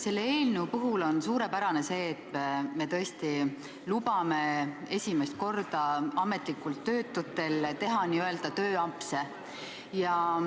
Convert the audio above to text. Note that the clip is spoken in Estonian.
Selle eelnõu puhul on suurepärane see, et me tõesti lubame esimest korda ametlikult töötutel teha tööampse.